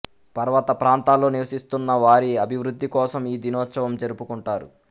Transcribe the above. పర్వత ప్రాంతాల్లో నివసిస్తున్న వారి అభివృద్ధికోసం ఈ దినోత్సవం జరుపుకుంటారు